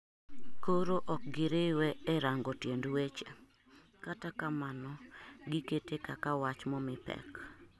Koro ok giriwe e rango tiend weche kata kamano gikete kaka wach momii pek